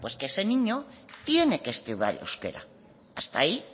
que ese niño tiene que estudiar euskera hasta ahí